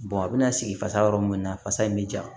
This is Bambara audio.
a bɛna sigi fasa yɔrɔ mun na fasa in mi ja